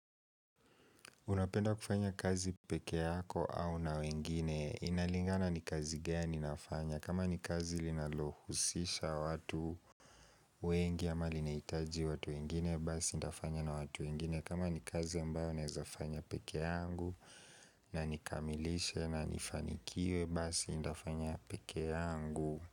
Unapenda kufanya kazi peke yako au na wengine, inalingana ni kazi gani nafanya kama ni kazi linalohusisha watu wengi ama lineitaji watu wengine, basi ndafanya na watu wengine kama ni kazi ambayo nezafanya peke yangu na nikamilishe na nifanikiwe, basi ndafanya peke yangu.